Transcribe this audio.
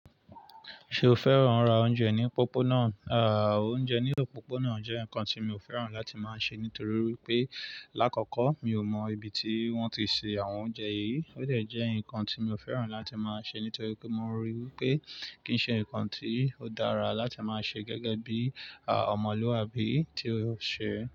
Ṣé o fẹ́ràn ra oúnjẹ ní pópónà? À, oúnjẹ ní ọ̀pópónà jẹ́ nǹkan tí mi ò fẹ́ràn láti máa ṣe nítorí pé lákọ̀kọ́ mi ò mọ ibi tí wọ́n ti se àwọn oúnjẹ yìí. Ó dà jẹ́ nǹkan tí mi ò fẹ́ràn láti máa ṣe nítorí pé mo ríi wí pé kì ń ṣe nǹkan tí ó dára láti máa ṣe gẹ́gẹ́ bí, à, ọmọlúwàbí tí ó ṣe.